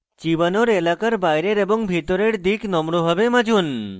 চিবানোর এলাকার বাইরের এবং ভেতরের দিক নম্রভাবে মাজুন